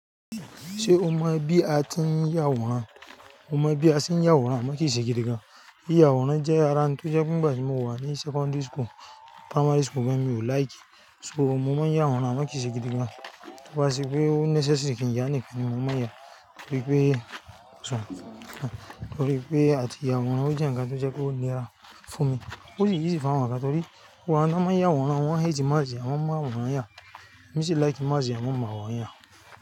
Ṣé o mọ bí a tí ń yàwòrán? Mo mọ bí a se ń yàwòrán, amo kii ṣe gidigan. Yiyà awòrán jẹ́ ara ń tó jẹ́ pe ngba tí mo wà ní secondary school, primary school gan mi ò like e. So, mọ máa ń yàwòrán, amo kií ṣe gidigan. To bá sí pé ó necessary kí n yá nìkan ni mọ máa yá. Torí pé, torí pé a ti yàwòrán, ó jẹ́ nǹkan tó jẹ́ kó lè dá fún mi. Ó ṣe easy fún àwọn ọmọ ga, torí wà á máa ń yàwòrán, àwọn ẹyìí tí má ṣe àwọn máa wòran yá. Mi sì like má ṣe àwọn máa wòran yá.